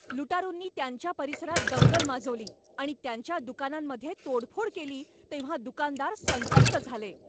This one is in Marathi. लुटारूंनी त्यांच्या परिसरात दंगल माजवली आणि त्यांच्या दुकानांमध्ये तोडफोड केली तेव्हा दुकानदार संतप्त झाले.